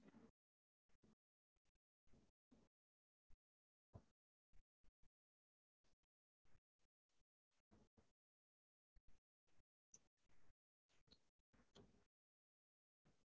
இல்ல இல்ல eggless லாம் இல்ல எல்லாம் வந்து non veg லாம் சாப்பிடுவாங்க so ஒன்னும் problem லா இல்ல நீங்க எனக்கு வந்து black forest ல வந்து பண்ணி குடுதிங்கனா இன்னும் கொஞ்சம் better அஹ் இருக்கும் taste ல ஆஹ் things லாம் add பண்றமாதிரி இருகும் cake ல இந்த